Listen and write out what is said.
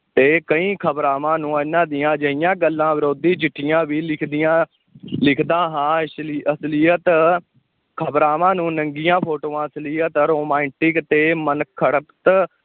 ਤੇ ਕਈ ਖ਼ਬਰਾਵਾਂ ਨੂੰ ਇਹਨਾਂ ਦੀਆਂ ਅਜਿਹੀਆਂ ਗੱਲਾਂ ਵਿਰੋਧੀ ਚਿੱਠੀਆਂ ਵੀ ਲਿਖਦੀਆਂ ਲਿਖਦਾ ਹਾਂ, ਅਸਲੀ~ ਅਸਲੀਅਤ ਖ਼ਬਰਾਵਾਂ ਨੂੰ ਨੰਗੀਆਂ ਫੋਟੋਆਂ, ਅਸ਼ਲੀਅਤ, romantic ਤੇ ਮਨਘੜਤ